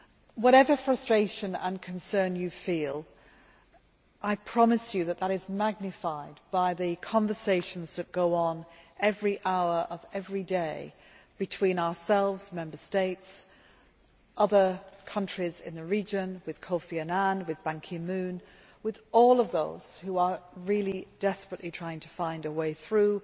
Whatever frustration and concern you feel, I promise you that that is magnified by the conversations which go on every hour of every day between ourselves the Member States, with other countries in the region, with Kofi Annan, with Ban Ki moon, and with all of those who are really desperately trying to find a way through